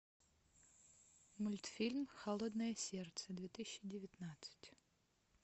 мультфильм холодное сердце две тысячи девятнадцать